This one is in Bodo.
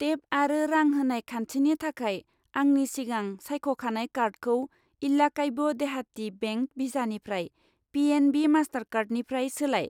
टेप आरो रां होनाय खान्थिनि थाखाय आंनि सिगां सायख'खानाय कार्डखौ इल्लाक्वाय देहाटि बेंक भिसानिफ्राय पि.एन.बि. मास्टारकार्डनिफ्राय सोलाय।